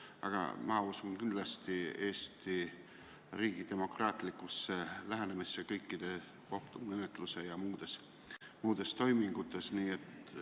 Aga mina usun kindlasti Eesti riigi demokraatlikku lähenemisse kõikide kohtumenetluste ja muude toimingute puhul.